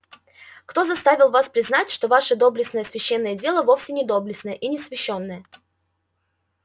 кто заставил вас признать что ваше доблестное священное дело вовсе не доблестное и не свящённое